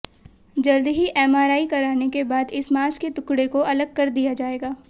जल्द ही एमआरआई कराने के बाद इस मांस के टुकड़े को अलग कर दिया जाएगा